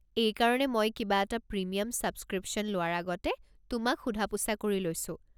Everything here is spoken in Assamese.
এইকাৰণে মই কিবা এটা প্ৰিমিয়াম ছাবস্ক্ৰীপশ্যন লোৱাৰ আগতে তোমাক সোধা-পোছা কৰি লৈছোঁ।